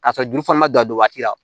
K'a sɔrɔ joli fana ma dan don waati la